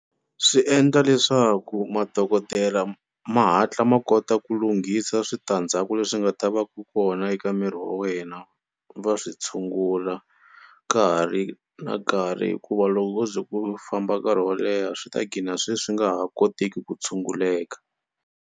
Swi endla leswaku madokodela ma hatla ma kota ku lunghisa switandzhaku leswi nga ta va ku kona eka miri wa wena va swi tshungula ka ha ri na nkarhi hikuva loko ko ze ku famba nkarhi wo leha swi ta gcina swe swi nga ha koteki ku tshunguleka.